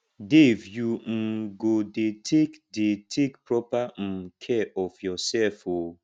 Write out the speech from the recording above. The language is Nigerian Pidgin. dave you um go dey take dey take proper um care of yourself oo um